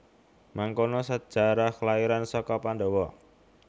Mangkono sejarah kelairan saka Pandhawa